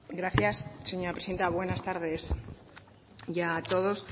gracias señora presidenta buenas tardes ya a todos